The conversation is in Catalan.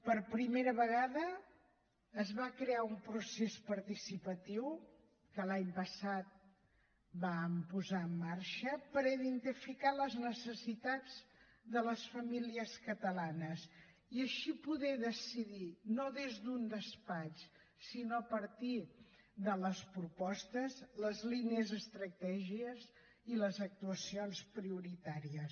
per primera vegada es va crear un procés participatiu que l’any passat vam posar en marxa per identificar les necessitats de les famílies catalanes i així poder decidir no des d’un despatx sinó a partir de les propostes les línies estratègiques i les actuacions prioritàries